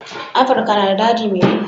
Afirika na da daji mai duhu.